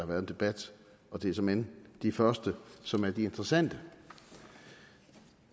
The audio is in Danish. været en debat og det er såmænd de første som er de interessante